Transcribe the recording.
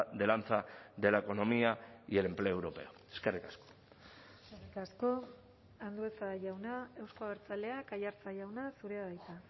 de lanza de la economía y el empleo europeo eskerrik asko eskerrik asko andueza jauna euzko abertzaleak aiartza jauna zurea da hitza